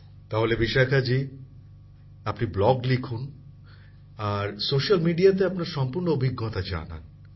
প্রধানমন্ত্রী জীঃ তাহলে বিশাখাজি আপনি ব্লগ লিখুন আর স্যোস্যাল মিডিয়াতে আপনার সম্পূর্ণ অভিজ্ঞতা জানান